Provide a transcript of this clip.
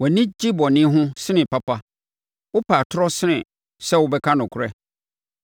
Wʼani gye bɔne ho sene papa, wopɛ atorɔ sene sɛ wobɛka nokorɛ.